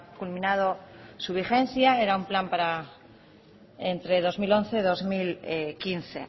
culminado su vigencia era un plan para entre dos mil once dos mil quince